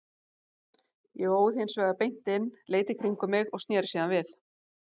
Ég óð hins vegar beint inn, leit í kringum mig og sneri síðan við.